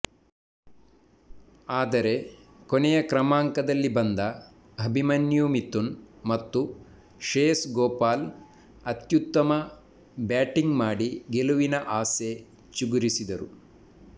ಆದರೆ ಕೊನೆಯ ಕ್ರಮಾಂಕದಲ್ಲಿ ಬಂದ ಅಭಿಮನ್ಯು ಮಿಥುನ್ ಮತ್ತು ಶ್ರೇಯಸ್ ಗೋಪಾಲ್ ಅತ್ಯುತ್ತಮ ಬ್ಯಾಟಿಂಗ್ ಮಾಡಿ ಗೆಲುವಿನ ಆಸೆ ಚಿಗುರಿಸಿದರು